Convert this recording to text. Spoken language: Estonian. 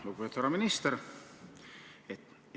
Lugupeetud härra minister!